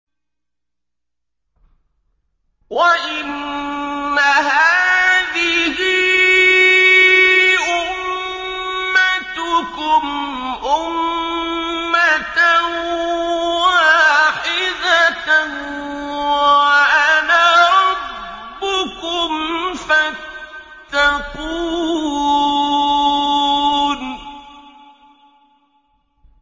وَإِنَّ هَٰذِهِ أُمَّتُكُمْ أُمَّةً وَاحِدَةً وَأَنَا رَبُّكُمْ فَاتَّقُونِ